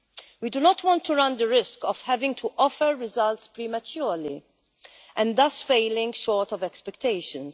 We do not want to run the risk of having to offer results prematurely and thus falling short of expectations.